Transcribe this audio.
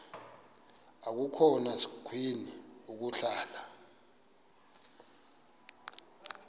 akukhona sikweni ukuhlala